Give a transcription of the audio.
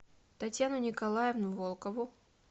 татьяну николаевну волкову